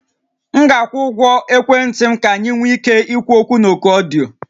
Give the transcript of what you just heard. M ga-akwụ ụgwọ ekwentị m ka anyị nwee ike ikwu okwu na oku ọdịyo